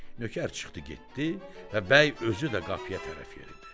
Nökər çıxdı getdi və bəy özü də qapıya tərəf yeridi.